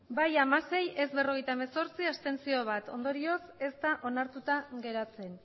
bai hamasei ez berrogeita hemezortzi abstentzioak bat ondorioz ez da onartuta geratzen